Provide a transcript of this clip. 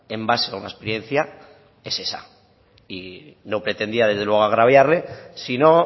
en base a una experiencia es esa y no pretendía desde luego agraviarle sino